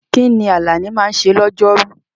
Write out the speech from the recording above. Kí ni Alani máa ń ṣe lọ́jọ́rú?